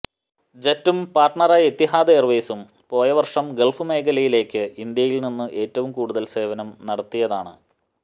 ജെറ്റും പാര്ട്നറായ എത്തിഹാദ് എയര്വെയ്സും പോയ വര്ഷം ഗള്ഫ് മേഖലയിലെക്ക് ഇന്ത്യയില് നിന്നും ഏറ്റവും കൂടുതല് സേവനം നടത്തിയതാണ്